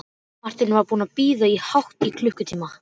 Marteinn var búinn að bíða hátt í klukkutíma.